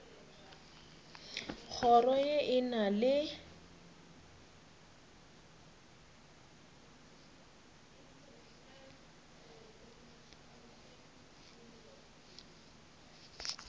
kgoro ye e na le